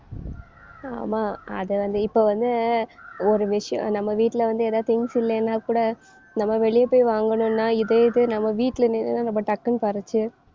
ஆமா அதுவந்து இப்ப வந்து ஒரு விஷயம் நம்ம வீட்டுல வந்து ஏதாவது things இல்லைன்னா கூட நம்ம வெளிய போய் வாங்கணும்ன்னா இதே இது நம்ம வீட்டுல நின்னு நம்ம டக்குன்னு பறிச்சு